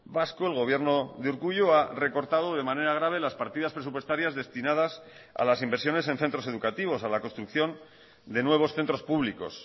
vasco el gobierno de urkullu ha recortado de manera grave las partidas presupuestarias destinadas a las inversiones en centros educativos a la construcción de nuevos centros públicos